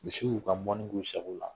Misiw'u ka mɔni k'u sago la.